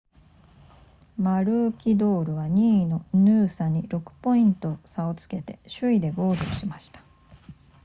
マルーキドールは2位のヌーサに6ポイント差をつけて首位でゴールしました